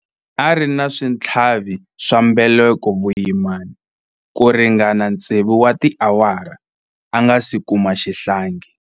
A ri na switlhavi swa mbeleko vuyimani ku ringana tsevu wa tiawara a nga si kuma xihlangi.